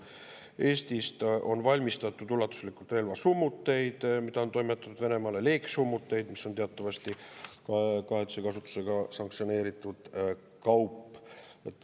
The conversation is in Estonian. Eestis on valmistatud ulatuslikult relvasummuteid, mida on toimetatud Venemaale, ja leegisummuteid, mis on teatavasti kahetise kasutusega sanktsioneeritud kaup.